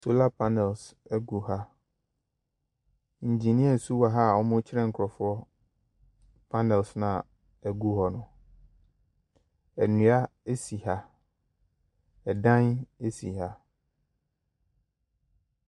Solar panels gu ha, engineers nso wɔ ha a wɔrekyerɛ nkurɔfoɔ panels no a ɛgu hɔ no. Nnua si ha, dan si ha.